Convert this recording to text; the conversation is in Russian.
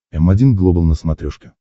м один глобал на смотрешке